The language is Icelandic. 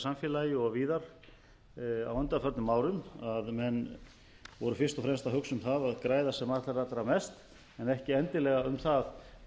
samfélagi og víðar á undanförnum árum að menn voru fyrst og fremst að hugsa um það að græða sem allra allra mest en ekki endilega um það